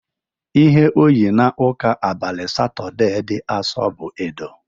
Ihe o yi n'ụka abalị Satọdee dị Asọ bụ edo.